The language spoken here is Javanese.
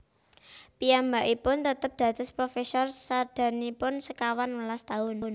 Piyambakipun tetep dados profesor sadangunipun sekawan welas taun